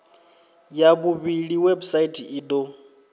ya vhuvhili website i do